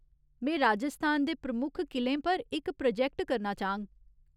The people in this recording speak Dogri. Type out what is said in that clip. में राजस्थान दे प्रमुख किलें पर इक प्रोजैक्ट करना चाह्ङ।